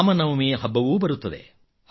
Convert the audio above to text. ರಾಮನವಮಿ ಹಬ್ಬವೂ ಬರುತ್ತದೆ